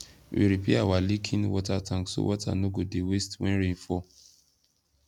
we repair our leaking water tank so water no go dey waste when rain fall